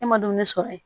E ma dumuni sɔrɔ yen